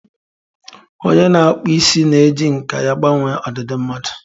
Onye na-akpụ isi na-eji nkà ya gbanwee ọdịdị mmadụ.